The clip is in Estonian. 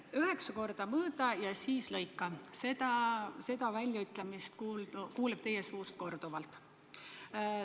Üheksa korda mõõda ja siis lõika – seda väljaütlemist kuuleb teie suust korduvalt.